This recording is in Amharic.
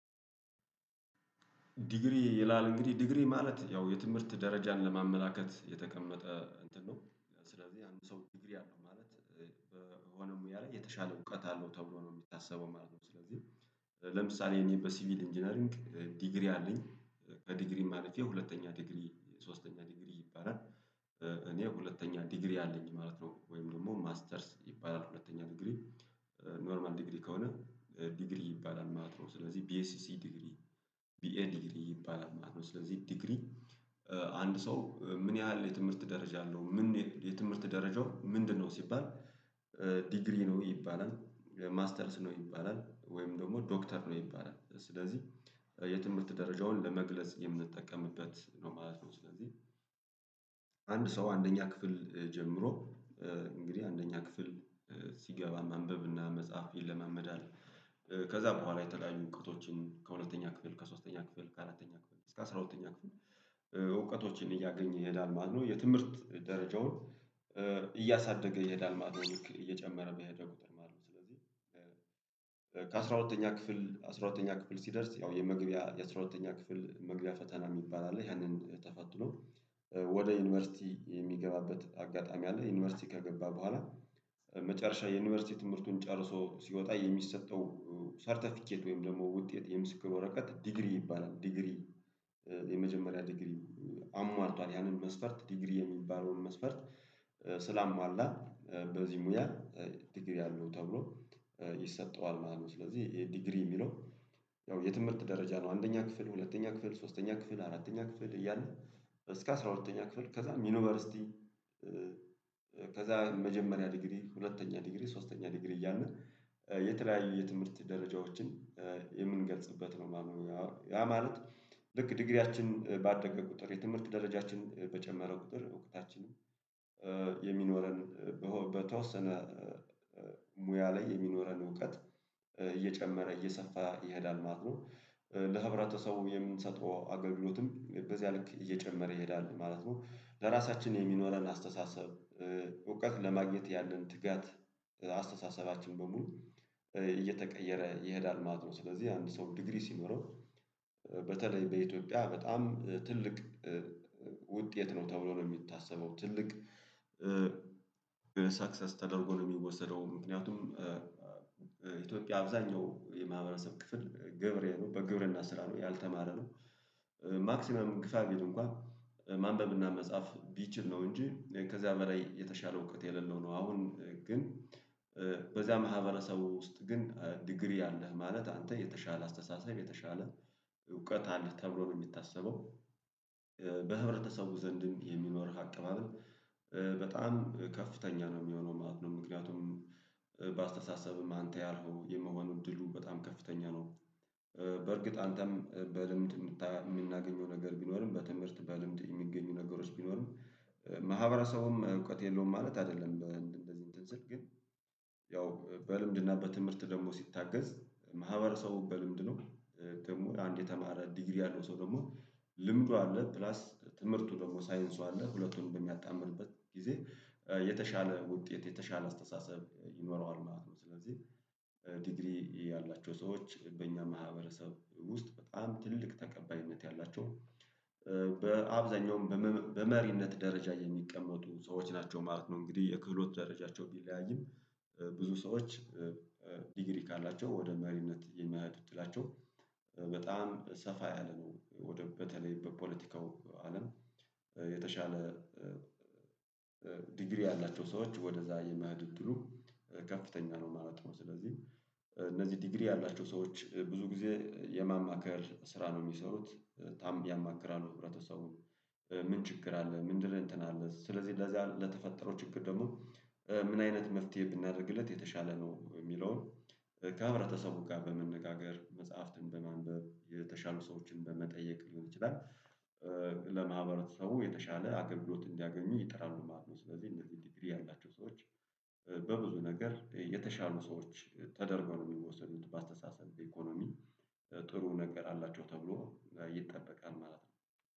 ዲግሪ ይላል። እንግዲህ ዲግሪ ማለት ያው የትምህርት ደረጃን ለማመላከት የተቀመጠ እንትን ነው። ስለዚህ አንድ ሰው ዲግሪ አለው ማለት ሆኖም ያለ የተሻለ እውቀት አለው ተብሎ ነው የሚታሰበው ማለት ነው። ስለዚህ ለምሳሌ እኔ በሲቪል ኢንጂነሪንግ ዲግሪ አለኝ። ከዲግሪ ማለፌ ሁለተኛ ሶስተኛ ዲግሪ ይባላል። እኔ ሁለተኛ ዲግሪ አለኝ ማለት ነው። ወይም ደግሞ ማስተርስ ይባላል ሁለተኛ ዲግሪ። ኖርማል ዲግሪ ከሆነ ዲግሪ ይባላል ማለት ነው። ስለዚህ ቢኤስሲ ዲግሪ፣ ቢኤ ዲግሪ ይባላል ማለት ነው። ስለዚህ ዲግሪ አንድ ሰው ምን ያህል የትምህርት ደረጃ አለው ምን የትምህርት ደረጃው ምንድነው? ሲባል ዲግሪ ነው ይባላል፤ ማስተርስ ነው ይባላል ወይም ደግሞ ዶክተር ነው ይባላል። ስለዚህ የትምህርት ደረጃውን ለመግለጽ የምንጠቀምበት ነው ማለት ነው። ስለዚህ አንድ ሰው አንደኛ ክፍል ጀምሮ እንግዲህ አንደኛ ክፍል ሲገባ ማንበብ እና መጽሐፍ ይለማመዳል። ከዛ በኋላ የተለያዩ እውቀቶችን ከሁለተኛ ክፍል ከሶስተኛ ክፍል ከአራተኛ ክፍል እስከ አስራ ሁለተኛ ክፍል እውቀቶችን እያገኘ ይሄዳል ማለት ነው። የትምህርት ደረጃውን እያሳደገ ይሄዳል ማለት ነው። እየጨመረ ቢሄደ ቁጥር ስለዚህ ከአስራ ሁለተኛ ክፍል አስራ ሁለተኛ ክፍል ሲደርስ ያው የመግቢያ የአስራ ሁለተኛ ክፍል መግቢያ ፈተና የሚባል አለ። ያንን ተፈትኖ ወደ ዩኒቨርሲቲ የሚገባበት አጋጣሚ አለ። ዩኒቨርሲቲ ከገባ በኋላ መጨረሻ የዩኒቨርሲቲ ትምህርቱን ጨርሶ ሲወጣ የሚሰጠው ሰርተፊኬት ወይም ደግሞ ውጤት የምስክር ወረቀት ዲግሪ ይባላል። ዲግሪ የመጀመሪያ ዲግሪ አሟልቷል። ያንን መስፈርት ዲግሪ የሚባለውን መስፈርት ስላሟላ በዚህ ሙያ ዲግሪ አለው ተብሎ ይሰጠዋል ማለት ነው። ስለዚህ ይሄ ዲግሪ የሚለው ያው የትምህርት ደረጃ ነው። አንደኛ ክፍል ሁለተኛ ክፍል ሶስተኛ ክፍል አራተኛ ክፍል እያለ እስከ አስራ ሁለተኛ ክፍል ከዛም ዩኒቨርሲቲ ከዛ መጀመሪያ ዲግሪ፣ ሁለተኛ ዲግሪ፣ ሶስተኛ ዲግሪ እያልን የተለያዩ የትምህርት ደረጃዎችን የምንገልጽበት ነው ማለት ነው። ያ ማለት ልክ ዲግሪያችን ባደገ ቁጥር የትምህርት ደረጃችን በጨመረው ቁጥር እውቀታችንም የሚኖረን በተወሰነ ሙያ ላይ የሚኖረን እውቀት እየጨመረ እየሰፋ ይሄዳል ማለት ነው። ለህብረተሰቡ የምንሰጠው አገልግሎትም በዚያ ልክ እየጨመረ ይሄዳል ማለት ነው። ለራሳችን የሚኖረን አስተሳሰብ እውቀት ለማግኘት ያለን ትጋት አስተሳሰባችን በሙሉ እየተቀየረ ይሄዳል ማለት ነው። ስለዚህ አንድ ሰው ዲግሪ ሲኖረው በተለይ በኢትዮጵያ በጣም ትልቅ ውጤት ነው ተብሎ ነው የሚታሰበው። ትልቅ ሰክሰስ ተደርጎ ነው የሚወሰደው። ምክንያቱም ኢትዮጵያ አብዛኛው የማህበረሰብ ክፍል ገበሬ ነው። በግብርና ስራ ነው። ያልተማረ ነው ማክሲመም ግፋ ቢል እንኳን ማንበብና መጻፍ ቢችል ነው እንጂ ከዚያ በላይ የተሻለ እውቀት የሌለው ነው። አሁን ግን በዛ ማህበረሰብ ውስጥ ግን ዲግሪ አለህ ማለት አንተ የተሻለ አስተሳሰብ የተሻለ አለህ ተብሎ ነው የሚታሰበው። በህብረተሰቡ ዘንድም የሚኖርህ አቀባበል በጣም ከፍተኛ ነው የሚሆነው ማለት ነው። ምክንያቱም በአስተሳሰብም አንተ ያልኸው የመሆን ድሉ በጣም ከፍተኛ ነው። በርግጥ አንተም በልምድ የምናገኘው ነገር ቢኖርም በትምህርት በልምድ የሚገኙ ነገሮች ቢኖሩም ማህበረሰቡም እውቀት የለውም ማለት አይደለም። እንደዚህ እንትን ስል ግን ያው በልምድና በትምህርት ደግሞ ሲታገዝ ማህበረሰቡ በልምድ ነው። ደግሞ አንድ የተማረ ዲግሪ ያለው ሰው ደግሞ ልምዱ አለ ፕላስ ትምህርቱ ደግሞ ሳይንሱ አለ። ሁለቱን በሚያጣምርበት ጊዜ የተሻለ ውጤት የተሻለ አስተሳሰብ ይኖረዋል ማለት ነው። ስለዚህ ዲግሪ ያላቸው ሰዎች በእኛ ማህበረሰብ ውስጥ በጣም ትልቅ ተቀባይነት ያላቸው በአብዛኛውም በመሪነት ደረጃ የሚቀመጡ ሰዎች ናቸው ማለት ነው። እንግዲህ የክፍሎት ደረጃቸው ቢለያይም ብዙ ሰዎች ዲግሪ ካላቸው ወደ መሪነት የመሄድ እድላቸው በጣም ሰፋ ያለ ነው። ወደ በተለይ በፖለቲካው አለም የተሻለ ዲግሪ ያላቸው ሰዎች ወደዛ የመሄድ እድሉ ከፍተኛ ነው ማለት ነው። ስለዚህ እነዚህ ዲግሪ ያላቸው ሰዎች ብዙ ጊዜ የማማከር ስራ ነው የሚሰሩት። በጣም ያማክራሉ ህብረተሰቡን ምን ችግር አለ? ምንድን እንትን አለ? ስለዚህ ለዚያ ለተፈጠረው ችግር ደግሞ ምን አይነት መፍትሄ ብናደርግለት የተሻለ ነው? የሚለውን ከህብረተሰቡ ጋር በመነጋገር መጽሐፍትን በማንበብ የተሻሉ ሰዎችን በመጠየቅ ሊሆን ይችላል ለማህበረሰቡ የተሻለ አገልግሎት እንዲያገኙ ይጥራሉ ማለት ነው። ስለዚህ እነዚህ ዲግሪ ያላቸው ሰዎች በብዙ ነገር የተሻሉ ሰዎች ተደርጎ ነው የሚወሰዱት በአስተሳሰብ ኢኮኖሚ ጥሩ ነገር አላቸው ተብሎ ይጠበቃል ማለት ነው።